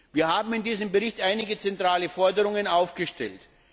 Wir haben in diesem Bericht einige zentrale Forderungen aufgestellt.